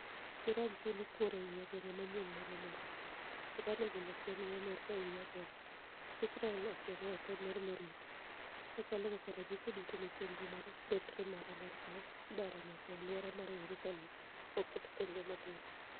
Iran chulo kuor e wi ageng'a manyien mag Amerka. Iran ogolo siem ne Amerka e wi ageng'a .Israel osiemo e tem mar marutu. Ma chalo kaka ranyisi duto ni chenro mar mbetremar Amerka idaro nyaka e aluora mar Yerusalem oket tenge matin.